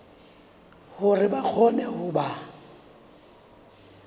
hore ba kgone ho ba